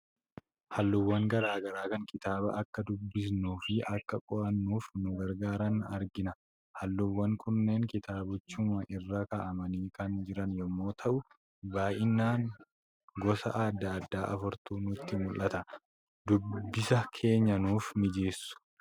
Halluuwwan garaa garaa kan kitaaba akka dubbisnuu fi akka qo'annuuf nu gargaaran argina. Halluuwwan kunneen kitaabichuma irra kaa'amanii kan jiran yommuu ta'u, baay'inaan gosa adda addaa afurtu nutti mul'ata. Dubbisa keenya nuuf mijeessu.